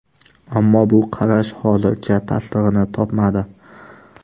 Ammo bu qarash hozircha tasdig‘ini topmadi.